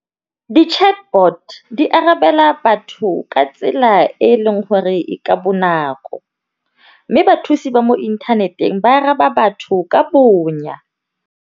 Di-Chatbot di arabela batho ka tsela e e leng gore e ka bonako, mme bathusi ba mo inthaneteng ba araba batho ka bonya.